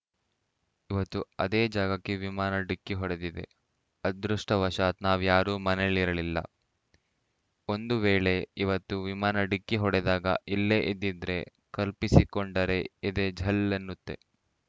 ಇವತ್ತು ಅದೇ ಜಾಗಕ್ಕೆ ವಿಮಾನ ಡಿಕ್ಕಿ ಹೊಡೆದಿದೆ ಅದೃಷ್ಟವಶಾತ್‌ ನಾವ್ಯಾರೂ ಮನೆಯಲ್ಲಿರಲಿಲ್ಲ ಒಂದು ವೇಳೆ ಇವತ್ತು ವಿಮಾನ ಡಿಕ್ಕಿ ಹೊಡೆದಾಗ ಇಲ್ಲೇ ಇದ್ದಿದ್ರೆ ಕಲ್ಪಿಸಿಕೊಂಡರೆ ಎದೆ ಝಲ್‌ ಎನ್ನುತ್ತೆ